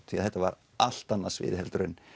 því þetta var allt annað svið heldur en